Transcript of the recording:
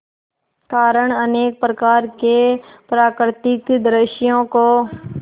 कारण अनेक प्रकार के प्राकृतिक दृश्यों को